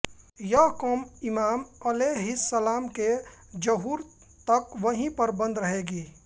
यह क़ौम इमाम अलैहिस्सलाम के ज़हूर तक वहीं पर बंद रहेगी